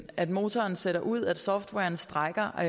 at motoren sætter ud at softwaren strejker og